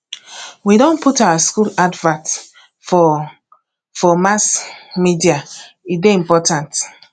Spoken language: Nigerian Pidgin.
we don put our skool advert for for mass media e dey important